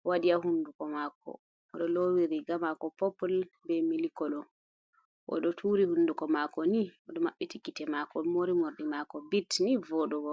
bo wadi ya hunduko mako, odo lowi riga mako popul be mili kolo odo turi hunduko mako ni odo mabbiti gite mako mori mordi mako bit ni vodugo.